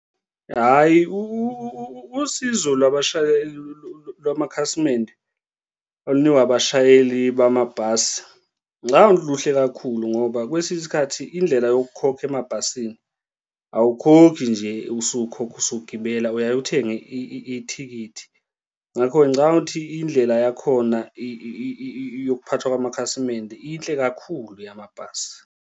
Hhayi, usizo labashayeli lwamakhasimende olunikwa abashayeli bamabhasi ngicabanga ukuthi luhle kakhulu ngoba kwesinye isikhathi indlela yokukhokha emabhasini awukhokhi nje usukhokha usugibela uyaye uthenge ithikithi. Ngakho-ke ngicabanga ukuthi indlela yakhona yokuphathwa kwamakhasimende inhle kakhulu yamabhasi.